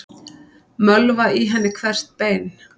Mölva í henni hvert bein.